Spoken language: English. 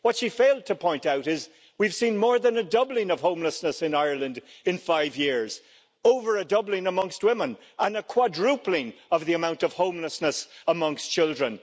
What she failed to point out is that we have seen more than a doubling of homelessness in Ireland in five years, over a doubling amongst women and a quadrupling of the amount of homelessness amongst children.